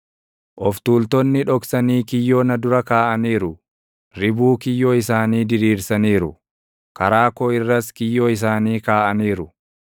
Of tuultonni dhoksanii kiyyoo na dura kaaʼaniiru; ribuu kiyyoo isaanii diriirsaniiru; karaa koo irras kiyyoo isaanii kaaʼaniiru.